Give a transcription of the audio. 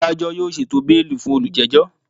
Adajọ yoo ṣeto beeli fun olujejo!